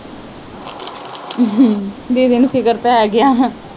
ਦੀਦੀ ਨੂੰ ਫਿਕਰ ਪੈਗਿਆ।